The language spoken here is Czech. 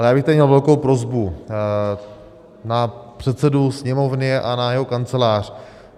Ale já bych tady měl velkou prosbu na předsedu Sněmovny a na jeho kancelář.